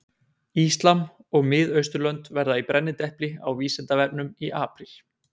Íslam og Mið-Austurlönd verða í brennidepli á Vísindavefnum í apríl.